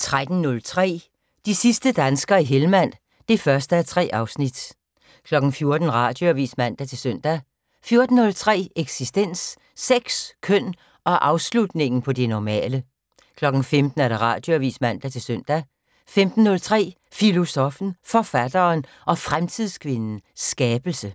13:03: De sidste danskere i Hellmand (1:3) 14:00: Radioavis (man-søn) 14:03: Eksistens: Sex, køn og afslutningen på det normale 15:00: Radioavis (man-søn) 15:03: Filosoffen, Forfatteren og Fremtidskvinden - Skabelse